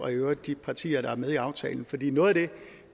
og i øvrigt de partier der er med i aftalen fordi noget af det